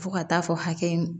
Fo ka taa fɔ hakɛ in